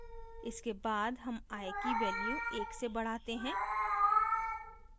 इसके बाद हम i की value एक से बढाते हैं